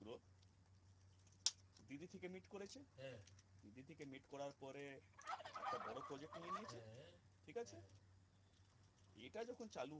hit করার পরে একটা বড় project নিয়ে ঠিক আছে এবার ওটা চালু